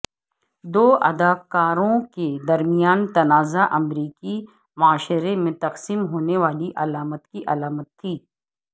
دو اداکاروں کے درمیان تنازع امریکی معاشرے میں تقسیم ہونے والی علامت کی علامت تھی